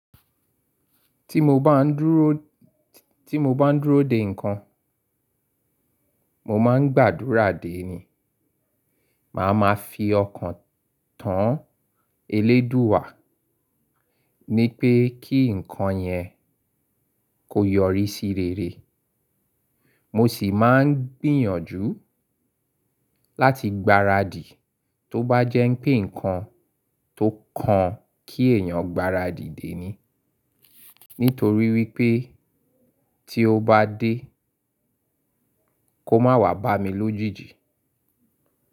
Tí mo bá ń dúró, tí mo bá ń dúró de ǹkan, mo máa ń gbàdúrà dé ni. Màá ma fi ọkàn tán. Eleduwa nipé kí ǹkan yẹn kó yọrí sí rere. Mo sì máa ń gbìyànjú, láti gbaradì tó bá jẹ́ pé ǹkan tó kan kí èèyàn gbaradì dé'ni, nítorí wípé tí ó bá dé, kó má wà bá mi lójijì.